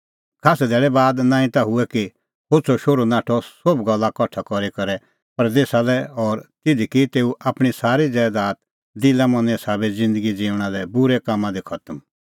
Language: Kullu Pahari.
खास्सै धैल़ै बी नांईं तै हुऐ कि होछ़अ शोहरू नाठअ सोभ गल्ला कठा करी करै परदेसा लै और तिधी की तेऊ आपणीं सारी ज़ैदात दिला मनें साबै ज़िन्दगी ज़िऊंणां लै बूरै कामां दी खतम